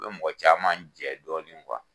U bɛ mɔgɔ caman jɛ dɔɔnin